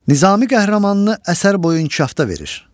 Nizami qəhrəmanını əsər boyu inkişafda verir.